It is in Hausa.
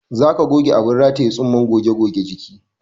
Za ka goge abin rataye tsumman goge jiki